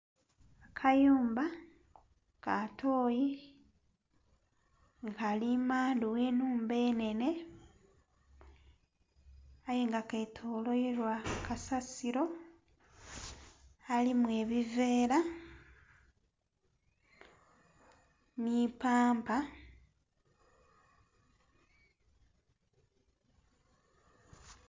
Akayumba ka tooyi nga kali mandhu gh'ennhumba enhenhe aye nga ketoloirwa kasasiro alimu ebiveera ni pampa.